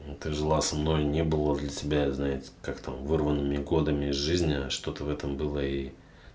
ты жила со мной не было для тебя знает как-то вырванными годами из жизни что-то в этом было и